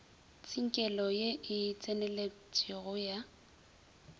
tsinkelo ye e tseneletpego ya